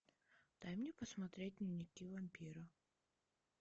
дай мне посмотреть дневники вампира